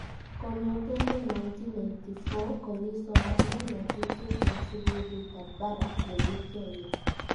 Kong'etegei 1984 kokii somane ng'atutiet eng sukulit ab barak nemii Kenya